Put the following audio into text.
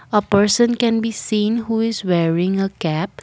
a person can be seen who is wearing a cap.